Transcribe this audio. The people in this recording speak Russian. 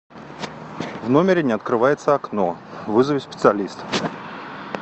в номере не открывается окно вызови специалиста